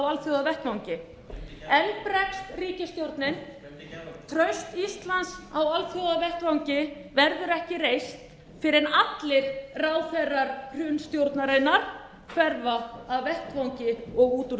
alþjóðavettvangi enn bregst ríkisstjórnin traust íslands á alþjóðavettvangi verður ekki reist fyrr en allir ráðherrar hrunstjórnarinnar hverfa af vettvangi og út úr